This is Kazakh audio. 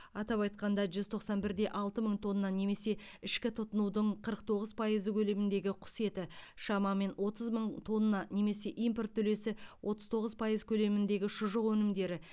атап айтқанда жүз тоқсан бір де алты мың тонна немесе ішкі тұтынудың қырық тоғыз пайызы көлеміндегі құс еті шамамен отыз мың тонна немесе импорт үлесі отыз тоғыз пайыз көлеміндегі шұжық өнімдері